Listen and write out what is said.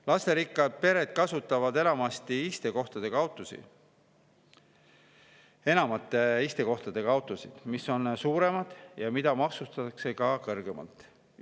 Lasterikkad pered kasutavad enamate istekohtadega autosid, mis on suuremad ja mida maksustatakse ka kõrgemalt.